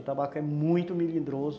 O tabaco é muito milidroso.